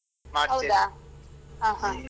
ಹ ಹ,